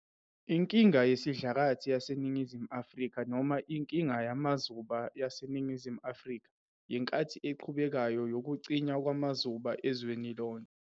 Inkinga yesidlakathi yaseNingizimu Afrika noma Inkinga yamazuba yaseNingizimu Afrika, yinkathi eqhubekayo yokucinywa kwamazuba ezweni lonke.